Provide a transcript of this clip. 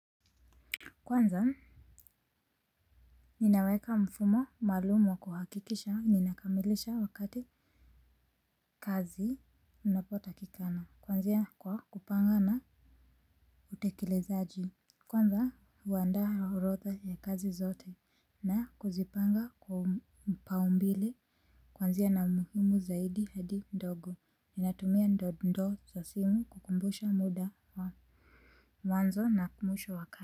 Kwanza ninaweka mfumo maalumu wa kuhakikisha ninakamilisha wakati kazi inapotakikana kwanzia kwa kupanga na utekelezaji. Kwanza huandaa orotha ya kazi zote na kuzipanga kwa mpaumbile. Kwanzia na umuhimu zaidi hadi ndogo ninatumia ndo ndo za simu kukumbusha muda wa mwanzo na mwisho wa kazi.